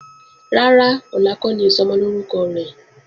Rárá, ọ̀la kọ́ ni Ìsọmọlórúkọ rẹ̀.